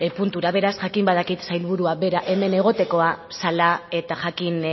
puntura beraz jakin badakit sailburua bera hemen egotekoa zela eta jakin